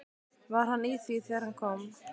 Var hann í því þegar hann kom?